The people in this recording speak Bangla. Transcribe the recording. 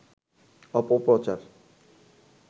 অপপ্রচার